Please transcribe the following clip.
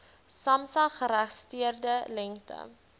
samsa geregistreerde lengte